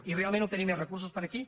i realment obtenir més recursos per aquí